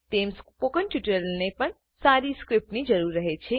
તેમ સ્પોકન ટ્યુટોરીયલને પણ સારી સ્ક્રીપ્ટની જરૂર રહે છે